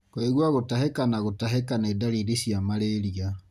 Kũigua gũtahĩka na gũtahĩka nĩ ndariri cia malaria.